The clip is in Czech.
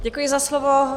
Děkuji za slovo.